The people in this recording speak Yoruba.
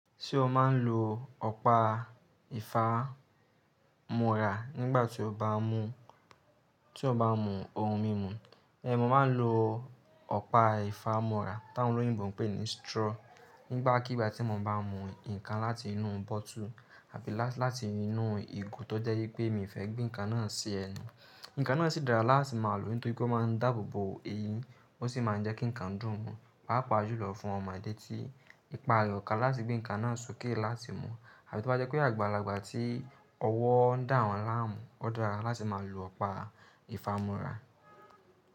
Ṣé ó máa ń lo ọ̀pá ìfámọra nígbà tí ó bá mú, tí ó bá mú ohun mímu. Mo máa ń lo ọ̀pá ìfámọra t'áwọn olóyìnbo ń pè ní straw nígbàkigbà tí mo bá mú ǹkan láti inú bottle àbí láti inú ìgò tó jẹ́ pé mi fẹ́ gbé ǹkan náà sí ẹnu. Ǹkan náà sì dára láti máa lò nítorí o máa ń dáàbò bo eyín, ó sì máa ń jẹ́ kí ǹkan dùn mu, pàápàá ju lọ fún ọmọdé tí ìpa rẹ̀ o kà láti gbé ǹkan náà sókè láti mu. Àbí tó bá jẹ́ pé àgbàlagbà tí ọwọ́ ń dà wọ́n láàmú, ó dára láti máa lo ọ̀pá ìfámọra.